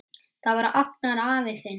Það var Agnar afi þinn.